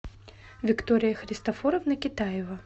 виктория христофоровна китаева